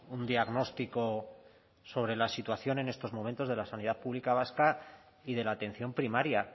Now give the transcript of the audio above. un diagnóstico sobre la situación en estos momentos de la sanidad pública vasca y de la atención primaria